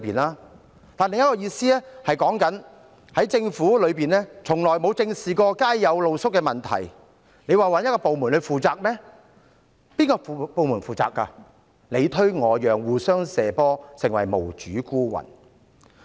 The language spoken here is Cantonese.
另一個意思是指政府從來沒有正視街上露宿者的問題，大家想查問哪個部門負責，但各部門你推我讓，互相"射波"，於是他們便成為無主孤魂。